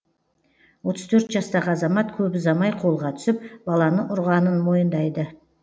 отыз төрт жастағы азамат көп ұзамай қолға түсіп баланы ұрғанын мойындайды